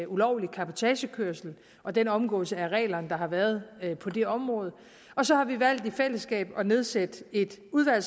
ulovlig cabotagekørsel og den omgåelse af reglerne der har været på det område og så har vi valgt i fællesskab at nedsætte et udvalg